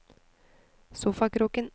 sofakroken